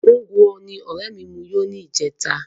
Ngwo ni ọrẹ mi mu yó ní ìjẹta